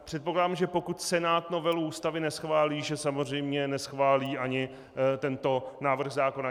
Předpokládám, že pokud Senát novelu Ústavy neschválí, že samozřejmě neschválí ani tento návrh zákona.